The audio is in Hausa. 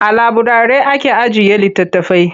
A laburari ake ajiye litattafai.